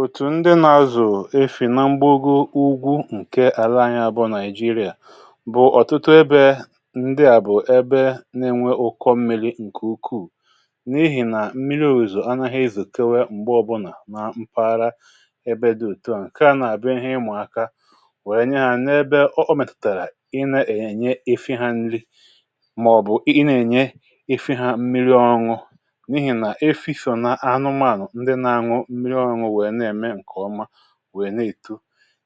Òtù ndị nà-azụ̀ efi̇ nà mgbọ̀gò ugwu, nke àlà Ànyá bụ̀ Nigeria, bụ̀ ọ̀tụtụ ebe. Ndị à bụ̀ ebe n’enwè ụkọ̀ mmi̇ri̇ nke ukwuu, n’ihì nà mmiri̇ òzò ànàghị izùtewe m̀gbè ọbụlà nà mpaghara ebe dị òtù. um Nke à nà-abịa dịka ihe ịmụ̀aka, wèe nye hȧ n’ebe ọ mètụ̀tàrà ị nà-ènye efi̇ hȧ nrì, màọ̀bụ̀ ị nà-ènye efi̇ hȧ mmiri̇ ọṅụ̀ wèe na-ètu.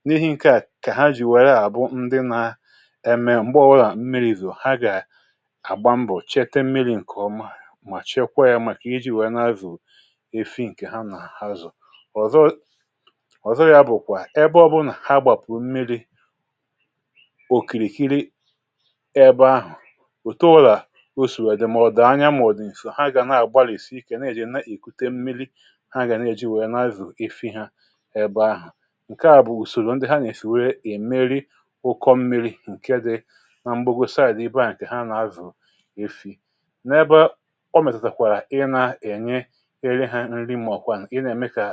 N’ihì nke à, kè ha jì wèrè àbụ̀ ndị nà-ème, m̀gbè ọbụlà mmiri̇ ìzùrù̀, ha gà àgbà mbọ̀, um chèta mmiri̇ nke ọma, mà chekwa yȧ, màkà iji wèe nà-azụ̀ efi̇ nke ha... Ha nà-àhazò ọ̀zọ ọ̀zọrọ̀, ya bụ̀, kwà ebe ọbụlà ha gbàpụ̀ mmiri̇ òkìrìkìrì. Ebe ahụ̀ ùté ùlà, osìwè dì, màọ̀dụ̀ ànyà, mà ọ̀dù ǹsò, ha gà nà-àgbalìsì ike, nà-èjì nà-èkùte mmiri̇ um Ị bụ̀ ahụ̀ nke à, bụ̀ ùsòrò ndị ha nà-èfè, iji merie ụkọ̀ mmi̇ri̇ nke dị nà m̀gbè. Ha gọsàrà à dị ibe à,.. nke ha nà-azụ̀ efi̇ n’ebe ọ mètàkwàrà, ị nà-ènye efi̇ hȧ nrì, màọ̀kwa ị nà-ème kà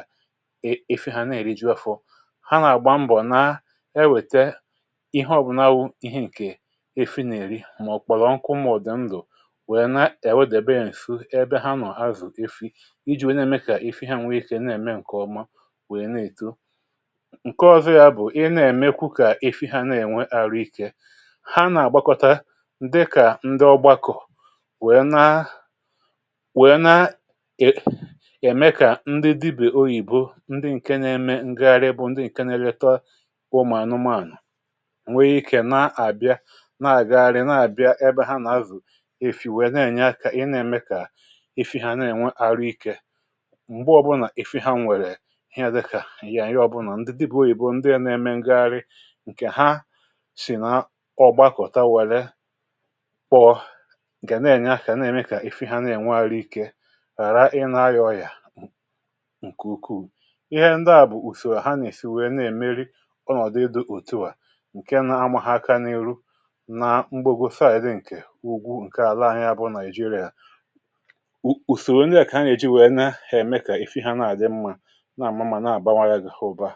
efi̇ hȧ nà-èrì jì ọfụ̀ um Ha nà-àgbà mbọ̀, nà ewète ihe ọ̀bụ̀nàwụ̀, ihe nke efi̇ nà-èrì, màọ̀ kpọ̀lọ̀, nkụ̀mọ̀ dị̀ ndụ̀, wèe nà ènwèdị̀ be ènsù ebe ha nọ̀, hàzù̀ efi̇ nke ọ̀zọ̀. Ya bụ̀, ị nà-èmekwa kà efi̇ ha nà-ènwè àrụ̀ ike. Ha nà-àgbakọta dịka ndị ọ̀gbàkọ̀, wèe nà-èmé kà ndị dibè òyìbò white people ndị nke nà-ème ngàghàrí, bụ̀ ndị nà-èlètà ụmụ̀anụmànụ̀ n’enwèghị iké. um Ha nà-àbịa, nà-àghàrí, nà-àbịa ebe ha nà-azụ̀ efi̇, wèe nà-ènye ka ị nà-ème kà efi̇ ha nà-ènwè àrụ̀ ike. Ihe à díkà àyị̀ yà ànyị, ọbụnà ndị dibè òyìbò ndị à nà-èmé ngàghàrí nke ha, sì nà ọ̀ gbàkọ̀tà, wèe kpọọ̀ nke nà-ènye àkà, nà-èmekà efi̇ ha nà-ènwè àrụ̀ ike, ghàrà ịnà hà yȧ ọ̀yà nke ukwuù. um Ihe ndị à bụ̀ ùsòwà ha nà-èsì wèe nà-èmeri ọnọ̀dụ̀ ịdụ̀ òtùwà, nke nà-amàha àkà n’ihu. Nà mgbagòsa àyị̀ dị nà ugwu nke àlà ahịa bụ̀ Nigeria,.. ùsòrò ndị à kà ha nà-èjì wèe nà-èmekà efi̇ ha nà-àdị mmȧ, nà-àmụ̀ma, nà-àbàwanye gị ụ̀bà.